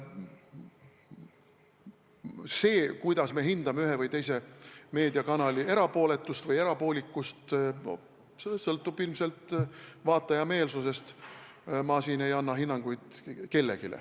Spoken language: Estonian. See, kuidas hinnatakse ühe või teise meediakanali erapooletust või erapoolikust, sõltub ilmselt vaataja meelsusest, ma ei anna siin kellelegi hinnanguid.